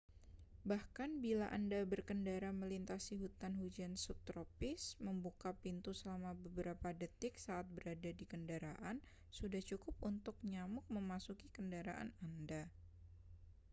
bahkan bila anda berkendara melintasi hutan hujan subtropis membuka pintu selama beberapa detik saat berada di kendaraan sudah cukup untuk nyamuk memasuki kendaraan anda